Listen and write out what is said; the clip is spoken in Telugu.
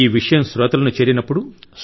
ఈ విషయం శ్రోతలను చేరినప్పుడు